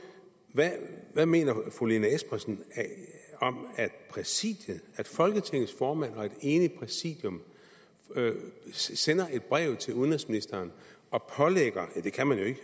hvad mener fru lene espersen om at præsidiet at folketingets formand og et enigt præsidium sender et brev til udenrigsministeren og pålægger ja det kan man jo ikke